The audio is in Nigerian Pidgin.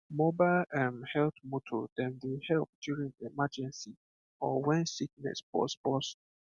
mobile um health motor dem dey help during emergency or when sickness burst burst